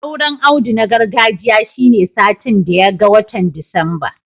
Auren Audu na gargajiya shine satin daya ga watan Disamba